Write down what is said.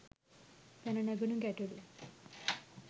පැන නැගුන ගැටලු?